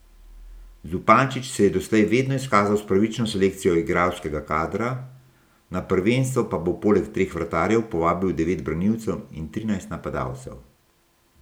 Zupančič se je doslej vedno izkazal s pravično selekcijo igralskega kadra, na prvenstvo pa bo poleg treh vratarjev povabil devet branilcev in trinajst napadalcev.